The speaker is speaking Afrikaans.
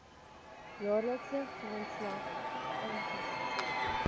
jaarlikse grondslag aangebied